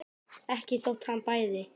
Ekki þótt hann bæði.